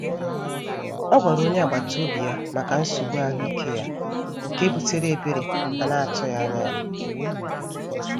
Ọ gwara onye agbata obi ya maka nsogbu ahụike ya, nke butere ebere a na-atụghị anya ya.